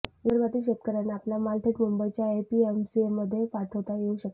विदर्भातील शेतकर्यांना आपला माल थेट मुंबईच्या एपीएमसीमध्ये पाठवता येऊ शकेल